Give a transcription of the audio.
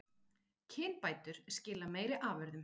Kynbætur skila meiri afurðum